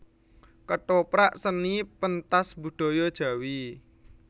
Kethoprak Seni pentas budaya Jawi